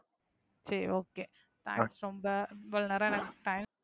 சரி okay thanks. ரொம்ப இவளோ நேரம் எனக்கு time